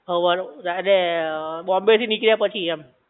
હવાર, રાતે બોમ્બે થી નીકળ્યા પછી એમ